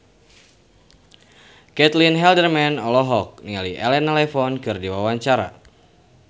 Caitlin Halderman olohok ningali Elena Levon keur diwawancara